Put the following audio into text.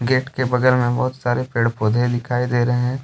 Gate के बगल में बहुत सारे पेड़ पौधे दिखाई दे रहे हैं।